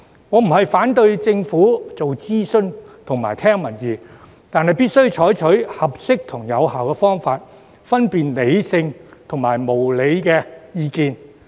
我並非反對政府做諮詢及聽民意，但必須採取合適及有效的方法，分辨理性或無理的意見。